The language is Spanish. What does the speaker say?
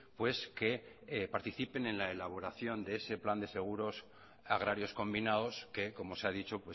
pues que participen en la elaboración de ese plan de seguros agrarios combinados que como se ha dicho